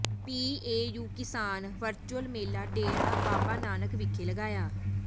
PAU ਕਿਸਾਨ virtual ਮੇਲਾ ਡੇਰਾ ਬਾਬਾ ਨਾਨਕ ਵਿਖੇ ਲਗਾਇਆ